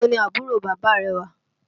Ibo ni àbúrò bàbá rẹ wà?